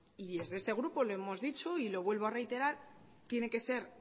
y desde este grupo lo hemos dicho y lo vuelvo a reiterar tiene que ser